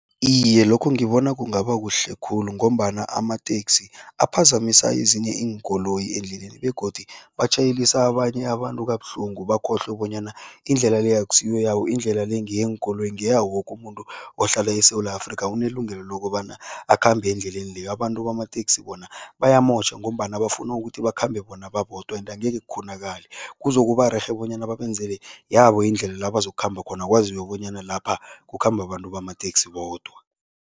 Iye, lokho ngibona kungaba kuhle khulu ngombana amateksi aphazamisa ezinye iinkoloyi endleleni begodu batjhayelisa abanye abantu kabuhlungu bakhohlwe bonyana indlela le akusiyo yabo, indlela le ngeyeenkoloyi, ngeyawoke umuntu ohlala eSewula Afrika unelungelo lokobana akhambe endleleni leya. Abantu bamateksi bona bayamotjha ngombana bafuna ukuthi bakhambe bona babodwa ende angeke kukghonakale, kuzokuba rerhe bonyana babenzele yabo indlela la bazokukhamba khona, kwaziwe bonyana lapha kukhamba abantu bamateksi bodwa.